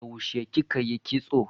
Yaushe kika yi kitso?